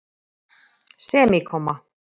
semíkomma